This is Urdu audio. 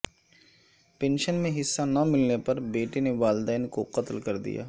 پنشن میں حصہ نہ ملنے پر بیٹے نے والدین کو قتل کردیا